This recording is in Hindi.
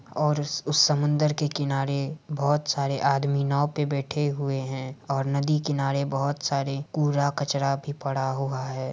और उस उस समंदर के किनारे बोहोत सारे आदमी नाव पे बैठे हुए है और नदी किनारे बोहोत सारे कूड़ा-कचरा भी पड़ा हुआ है।